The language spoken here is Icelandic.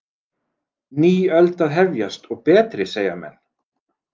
Ný öld að hefjast, og betri, segja menn.